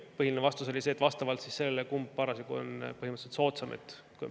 Põhiline vastus oli see, et vastavalt sellele, kumb parasjagu on soodsam, tuleb tasu.